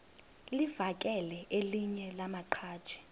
livakele elinye lamaqhaji